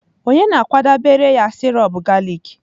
Ònye na-akwadebere ya sirop galik?